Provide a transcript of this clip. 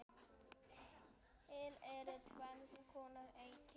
Til eru tvenns konar eyríki